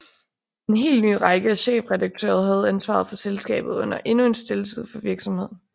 En helt ny række af chefredaktører havde ansvaret for selskabet under endnu en stille tid for virksomheden